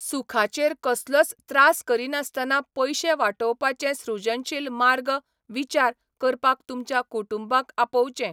सुखाचेर कसलोच त्रास करिनासतना पयशे वाटोवपाचे सृजनशील मार्ग विचार करपाक तुमच्या कुटुंबाक आपोवचें.